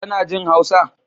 Tana jin Hausa?